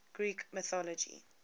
greek mythology